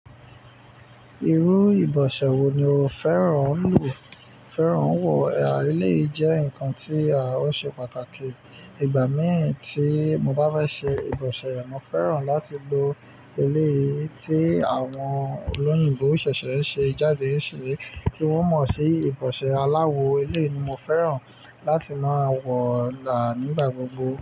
Irú ìbọ̀ṣẹ̀ wo ni o fẹ́ràn ń wọ? Eleyìí jẹ́ nǹkan tí a ó ṣe pàtàkì. Ìgbà mìí tí mo bá fe ṣe ìbọ̀ṣẹ̀, mo fẹ́ràn láti lo eleyìí tí àwọn olóyìnbo ṣẹ̀ṣẹ̀ n ṣe jáde yìí ṣe tí wọ́n mọ̀ sí ìbọ̀ṣẹ̀ aláwọ̀ eleyii ni mo fẹ́ràn láti máa wọ̀ ní igbà gbogbo.